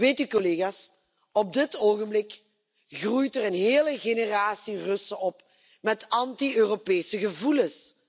Weet u, collega's, op dit ogenblik groeit er een hele generatie Russen op met anti Europese gevoelens.